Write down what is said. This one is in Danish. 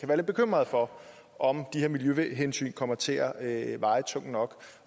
være lidt bekymrede for om de her miljøhensyn kommer til at veje tungt nok